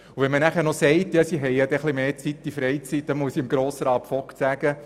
Dem Einwand, die Schülerinnen und Schüler hätten dafür mehr Freizeit, möchte ich entgegnen: